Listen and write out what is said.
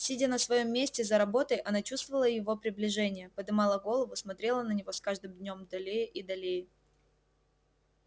сидя на своём месте за работой она чувствовала его приближение подымала голову смотрела на него с каждым днём долее и долее